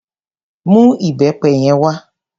Mú ìbẹpẹ yẹn wá.